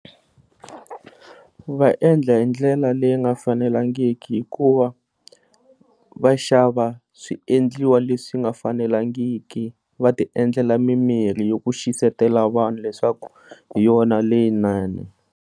Va endla hi ndlela leyi nga fanelangiki hikuva va xava swiendliwa leswi nga fanelangiki va ti endlela mi mirhi yaku xisatela vanhu leswaku hi yona leyinene.